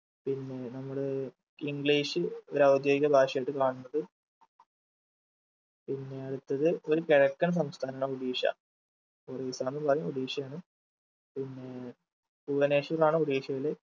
പിന്നെ നമ്മള് english ഒരു ഔദ്യോഗിക ഭാഷയായിട്ട് കാണുന്നത് പിന്നേ അടുത്തത് ഒരു കിഴക്കൻ സംസ്ഥാനാണ് ഒഡീഷ ഒറീസാന്ന് പറയും ഒഡീഷയാണ് പിന്നേ ബുവനേശ്വർ ആണ് ഒഡീഷയിലെ